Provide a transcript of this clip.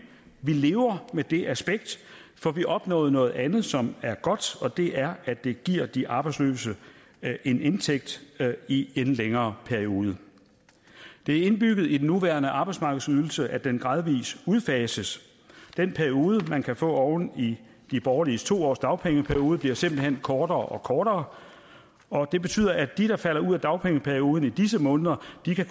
vi lever med det aspekt for vi opnåede noget andet som er godt og det er at det giver de arbejdsløse en indtægt i en længere periode det er indbygget i den nuværende arbejdsmarkedsydelse at den gradvis udfases den periode man kan få oven i de borgerliges to årsdagpengeperiode bliver simpelt hen kortere og kortere og det betyder at de der falder ud af dagpengeperioden i disse måneder